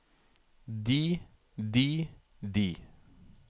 de de de